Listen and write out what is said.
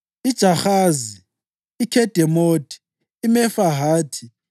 iJahazi, iKhedemothi, iMefahathi,